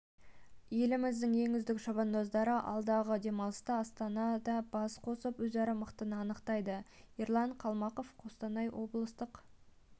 еліміздің ең үздік шабандоздары алдағы демалыста астанада бас қосып өзара мықтыны анықтайды ерлан қалмақов қостанай облыстық